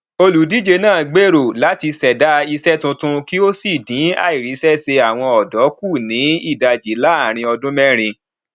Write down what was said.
olùdíje náà gbèrò láti ṣẹdá iṣẹ tuntun kí ó sì dín àìríṣẹṣe àwọn ọdọ kù ní ìdajì láàárín ọdún mẹrin